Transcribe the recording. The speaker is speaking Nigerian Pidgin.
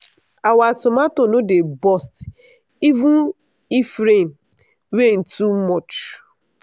our tomato no dey burst even if rain rain too much.